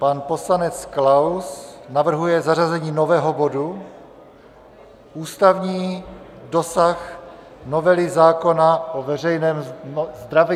Pan poslanec Klaus navrhuje zařazení nového bodu Ústavní dosah novely zákona o veřejném zdraví.